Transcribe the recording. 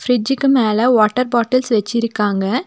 பிரிட்ஜ்க்கு மேல water bottles வச்சிருக்காங்க.